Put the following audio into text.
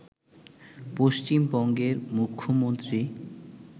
পশ্চিমবঙ্গের মুখ্যমন্ত্রী